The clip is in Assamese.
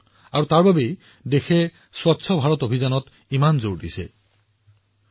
সেয়েহে দেশখনে স্বচ্ছ ভাৰত অভিযানৰ ওপৰত ইমান গুৰুত্ব আৰোপ কৰিছে